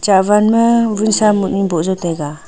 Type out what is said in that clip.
hahwan ma wunsa bohnu taiga.